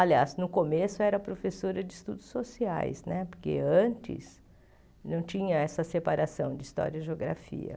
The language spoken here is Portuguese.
Aliás, no começo eu era professora de estudos sociais né, porque antes não tinha essa separação de história e geografia.